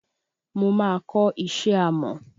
Mo máa kò isé amò.